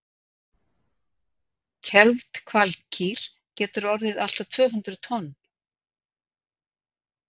kelfd hvalkýr getur orðið allt að tvö hundruð tonn